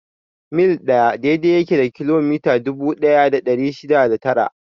Mil ɗaya daidai yake da kilomita dubu ɗaya da ɗari shida da tara.